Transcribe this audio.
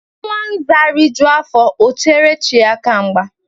Nwa Nza rijuo afọ, o chere chi aka mgba